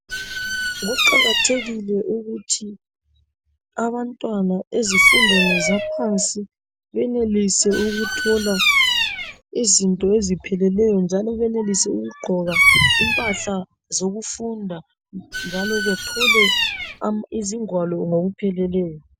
Kuqakathekile ukuthi abantwana ezifundweni zaphansi benelise ukuthola izinto ezipheleleyo njalo benelise ukugqoka impahla zokufunda njalo bethole izingwalo ngokupheleleyo.